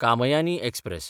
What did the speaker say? Kamayani express